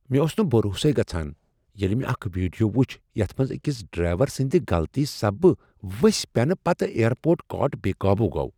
مےٚ اوس نہٕ بھروسے گژھان ییٚلہ مےٚ اکھ ویڈیو وُچھ یتھ منٛز اکِس ڈرٛایور سٕندِ غلطی سببہٕ وٕسۍ پٮ۪نہٕ پتہٕ ایر پورٹ کارٹ بےٚ قوبوٗ گوٚو۔